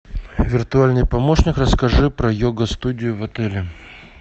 виртуальный помощник расскажи про йога студию в отеле